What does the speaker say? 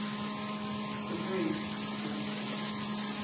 t a no et o